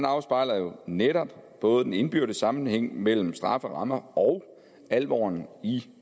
afspejler jo netop både den indbyrdes sammenhæng mellem strafferammer og alvoren i